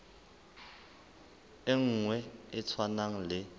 e nngwe e tshwanang le